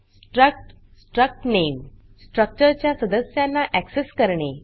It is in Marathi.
स्ट्रक्ट struct name स्ट्रक्चर च्या सदस्यांना ऍक्सेस करणे